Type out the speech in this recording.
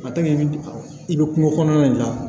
i bɛ i bɛ kungo kɔnɔna de la